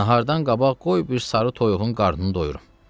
Nahardan qabaq qoy bir sarı toyuğun qarnını doyurum.